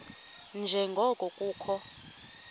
nje ngoko kukho